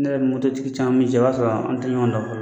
Ne yɛrɛ me mototigi caman min i b'a sɔrɔ an tɛ ɲɔgɔn dɔn